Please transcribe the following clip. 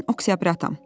Mən oktyabratam.